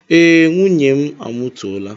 Ee, nwunye m amụtuola